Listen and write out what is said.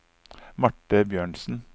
Marte Bjørnsen